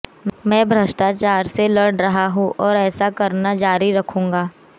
मैं भ्रष्टाचार से लड़ रहा हूं और ऐसा करना जारी रखूंगा